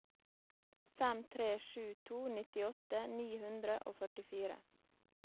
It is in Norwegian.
fem tre sju to nittiåtte ni hundre og førtifire